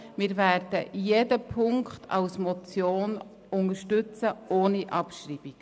Wir werden jede Ziffer als Motion unterstützen, ohne Abschreibung.